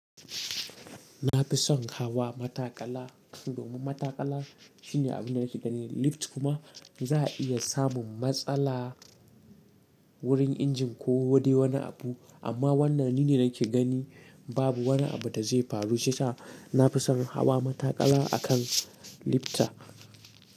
Na fi son hawa matakala, domin matakala shine abin da nake gani. Lifta kuma za a iya samun matsala wurin injin ko dai wani abu. Amma wannan ni ne nake gani, babu wani abu da zai faru. Shiyasa na fi son hawa matakala a kan lifta.